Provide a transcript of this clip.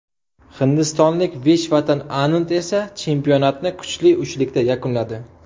Hindistonlik Vishvanatan Anand esa chempionatni kuchli uchlikda yakunladi.